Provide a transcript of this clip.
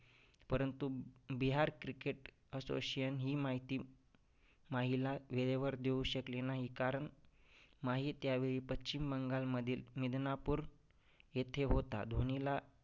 परंतु Bihar cricket association ही माहिती माहीला वेळेवर देऊ शकली नाही कारण माही त्यावेळी पश्चिम बंगालमधील मिदनापूर येथे होता. धोनीला